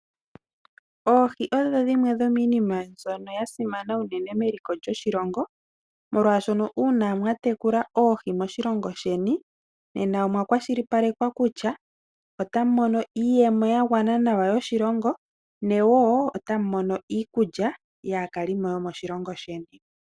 Oohi odho dhimwe dhomiinima mbyono ya simana unene meliko lyoshilongo, molwaashono uuna mwa tekula oohi moshilongo sheni, nena omwa kwashilipalekwa kutya otamu mono iiyemo ya gwana nawa yoshilongo, ne woo otamu mono iikulya yaakalimo yo moshilongo sheni.